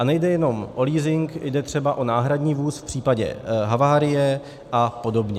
A nejde jenom o leasing, jde třeba o náhradní vůz v případě havárie a podobně.